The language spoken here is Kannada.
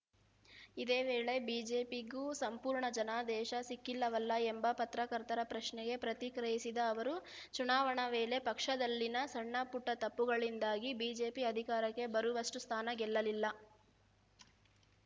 ಇದೇ ವೇಳೆ ಬಿಜೆಪಿಗೂ ಸಂಪೂರ್ಣ ಜನಾದೇಶ ಸಿಕ್ಕಿಲ್ಲವಲ್ಲ ಎಂಬ ಪತ್ರಕರ್ತರ ಪ್ರಶ್ನೆಗೆ ಪ್ರತಿಕ್ರಿಯಿಸಿದ ಅವರು ಚುನಾವಣೆ ವೇಳೆ ಪಕ್ಷದಲ್ಲಿನ ಸಣ್ಣಪುಟ್ಟತಪ್ಪುಗಳಿಂದಾಗಿ ಬಿಜೆಪಿ ಅಧಿಕಾರಕ್ಕೆ ಬರುವಷ್ಟುಸ್ಥಾನ ಗೆಲ್ಲಲಿಲ್ಲ